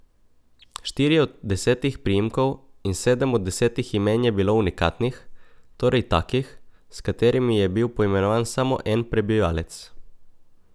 Štirje od desetih priimkov in sedem od desetih imen je bilo unikatnih, torej takih, s katerimi je bil poimenovan samo en prebivalec.